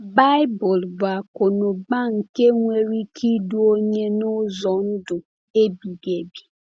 Baịbụl bụ akụnụba nke nwere ike idu onye n’ụzọ ndụ ebighị ebi.